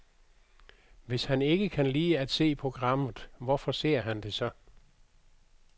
Hvis han ikke kan lide at se programmet, hvorfor ser han det så?